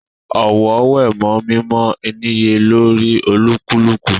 Ọ̀wọ̀ wé mọ́ mímọ ìníyelórí olúkúlùkù